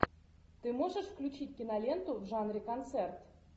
ты можешь включить киноленту в жанре концерт